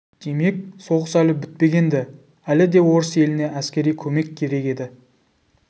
демек соғыс әлі бітпеген-ді әлі де орыс еліне әскери көмек керек еді